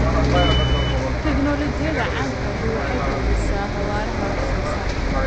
Tiknoolajiyada casriga ahi waxay kordhisaa xawaaraha wax soo saarka.